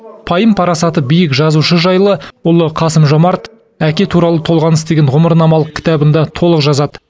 пайым парасаты биік жазушы жайлы ұлы қасым жомарт әке туралы толғаныс деген ғұмырнамалық кітабында толық жазады